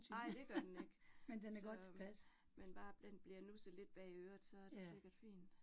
Nej, det gør det ikke. Så men men bare den bliver nusset lidt bag øret, så det sikkert fint